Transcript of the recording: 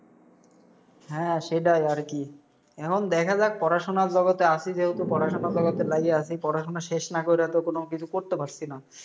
হ্যাঁ সেটাই আর কি। এখন দেখা যাক, পড়াশোনার জগতে আসি যেহেতু, পড়াশোনার জগতে লাইগা আসি, পড়াশোনা শেষ না কইরা তো কোনো কিসু করতে পারসি না।